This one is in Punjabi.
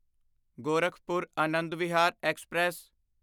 ਗੋਰਖਪੁਰ ਆਨੰਦ ਵਿਹਾਰ ਐਕਸਪ੍ਰੈਸ